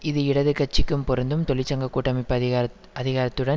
இது இடது கட்சிக்கும் பொருந்தும் தொழிற்சங்க கூட்டமைபு அதிகாரத் அதிகாரத்துடன்